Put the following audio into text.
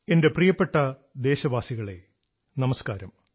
എന്റെ പ്രിയപ്പെട്ട ദേശവാസികളെ നമസ്കാരം